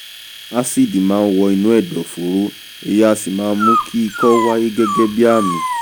ásíìdì máa wọ inú ẹ̀dọ̀fóró èyí á sì mú kí ikọ́ wáyé gẹ́gẹ́ bíi àmì